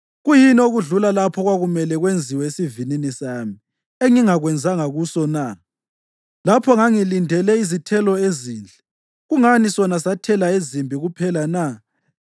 Kuyini okudlula lapho okwakumele kwenziwe esivinini sami engingakwenzanga kuso na? Lapho ngangilindele izithelo ezinhle kungani sona sathela ezimbi kuphela na?